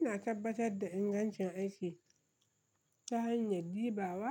Ina tabbatar da ingancin aiki ta hanyar dibawa